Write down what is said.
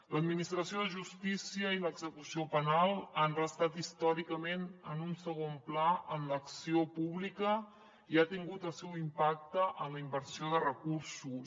l’administració de justícia i l’execució penal han restat històricament en un segon pla en l’acció pública i ha tingut el seu impacte en la inversió de recursos